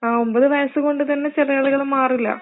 ഒമ്പത് വയസ്സ് കൊണ്ട് തന്നെ ചിലയാളുകളുടെ മാറില്ല